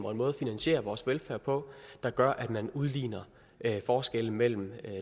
og en måde at finansiere vores velfærd på der gør at man udligner forskellen mellem